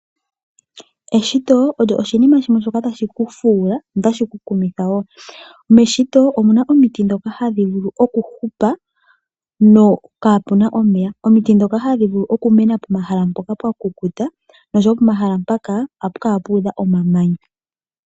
Eshito olyo oshinima shimwe shoka tashi ku fuula notashi ku kumitha wo. Meshito omuna omiti dhoka hadhi vulu okuhupa kaapuna omeya. Omiti dhoka hadhi vulu okumena pomahala mpoka pwa kukuta noshowo pomahala mpaka ohapu kala puudha omamanya.